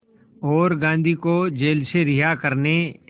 और गांधी को जेल से रिहा करने